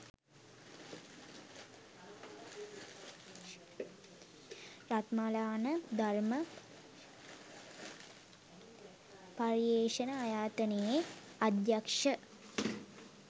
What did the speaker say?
රත්මලාන ධර්ම පර්යේෂණායතනයේ අධ්‍යක්ෂ